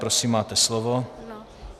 Prosím, máte slovo.